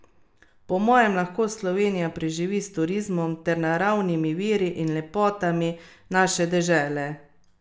Po mojem lahko Slovenija preživi s turizmom ter naravnimi viri in lepotami naše dežele.